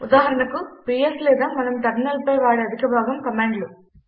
ఉదాహరణకు పిఎస్ లేదా మనం టెర్మినల్పై వాడే అధిక భాగం కమాండ్లు